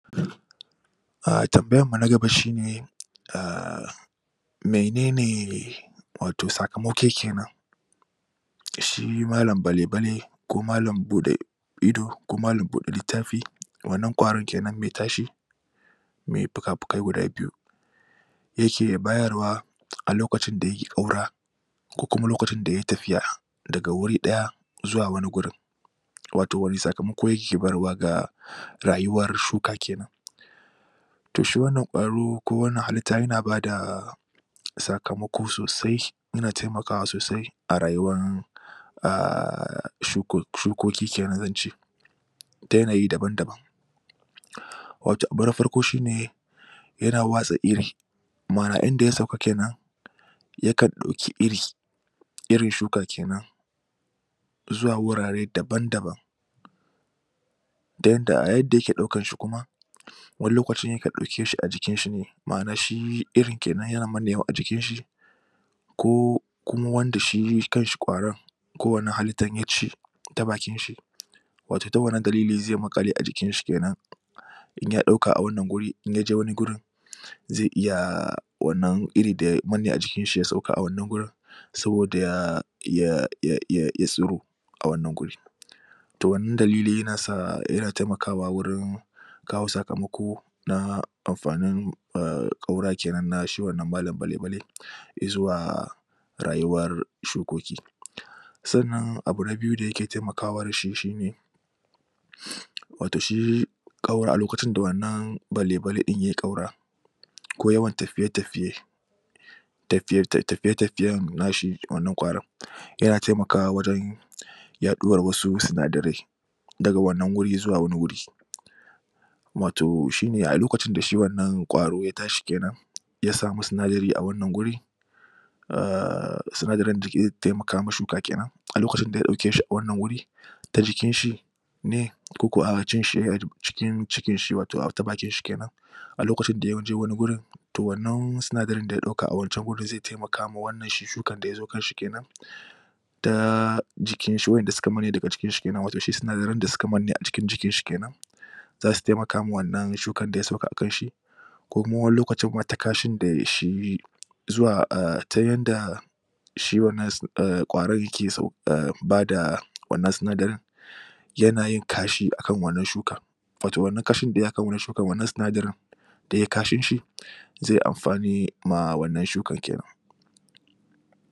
umm tambayan mu na gaba shine menene shi malam balabale ko malam ido ko malam buɗe littafi wannan ƙwaron kenan me tashi me puka-pukai guda biyu yake bayarwa a lokacin da yake ƙaura ko kuma lokacin da yayi tafiya daga wuri ɗaya zuwa wani gurin wato wane sakamako yake barwa ga rayuwar shuka kenan to shi wannan ƙwaro ko wannan halitta yana bada sakamako sosai yana temakawa sosai a rayuwan shukoki kenan zan ce ta yanayi daban-daban wato abu na farko shine yana watsa iri ma'ana inda ya sauka kenan yakan ɗoki iri irin shuka kenan zuwa wurare daban-daban ta yanda a yadda yake ɗaukan shi kuma wani lokaci yakan ɗauke shi a jikin shi ne ma'ana shi irin kenan yana mannewa a jikin shi ko ko wanda shi kan shi ƙwaron ko wannan halittar ya ci ta bakin shi wato ta wannan dalili ze maƙale a jikin shi kenan in ya ɗauka a wannan guri in ya je wani gurin ze iya wannan iri da ya manne a jikin shi ya sauka a wannan gurin saboda ya ya tsiro a wannan guri to wannan dalili yana temakawa wurin kawo sakamako na amfanin ƙaura kenan na shi wannan malam bale-bale izuwa rayuwar shukoki sannan abu na biyu da yake temakawa da shi shine wato shi a lokacin da wannan bale-bale ɗin yayi ƙaura ko yawan tafiye-tafiye tafiye-tafiyen na shi, wannan ƙwaron yana temakawa wajen yaɗuwar wasu sinadarai daga wannan wuri zuwa wani wuri wato shine a lokacin da shi wannan ƙwaro ya tashi kenan ya samu sinadari a wannan guri sinadarin da ke iya temaka ma shuka kenan a lokacin da ya ɗauke shi a wannan wuri ta jikin shi ne koko cikin cikin shi wato ta bakin shi kenan a lokacin da ya je wani gurin to wannan sinadarin da ya ɗauka a wancan gurin ze temaka ma wannan shi shukan da ya zo kan shi kenan ta jikin shi wa'enda suka manne daga jikin shi ne wato sinadaran da suka manne a cikin jikin shi kenan za su temaka ma wannan shukan da ya sauka a kan shi ko kuma wani lokacin ta kashin da shi ta yanda shi wannan ƙwaron yake sau umm bada wannan sinadarin yana yin kashi akan wannan shukan wato wannan kashi da yayi akan wannan shukan wannan sinadarin da yayi kashin shi ze amfani ma wannan shukan kenan